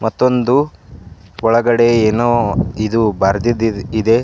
ಮತ್ತೊಂದು ಒಳಗಡೆ ಏನೋ ಇದು ಬರೆದಿದ್ ಇದೆ.